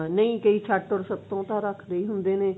ਨਾ ਕਈ ਛੱਟ ਓਰ ਸ੍ਤ੍ਤਿਓਂ ਤਾਂ ਰੱਖਦੇ ਹੀ ਹੁੰਦੇ ਨੇ